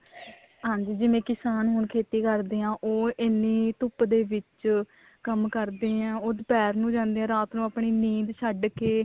ਹਾਂਜੀ ਜਿਵੇਂ ਕਿਸਾਨ ਹੁਣ ਖੇਤੀ ਕਰਦੇ ਆ ਉਹ ਇੰਨੀ ਧੁੱਪ ਦੇ ਵਿੱਚ ਕੰਮ ਕਰਦੇ ਉਹ ਦੁਪਹਿਰ ਨੂੰ ਜਾਂਦੇ ਆ ਰਾਤ ਨੂੰ ਆਪਣੀ ਨੀਂਦ ਛੱਡ ਕੇ